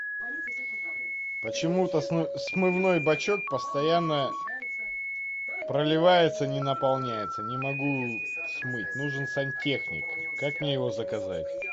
почему то смывной бачок постоянно проливается не наполняется не могу смыть нужен сантехник как мне его заказать